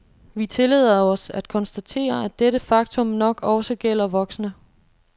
Vi tillader os at konstatere, at dette faktum nok også gælder voksne.